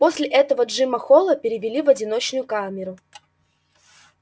после этого джима холла перевели в одиночную камеру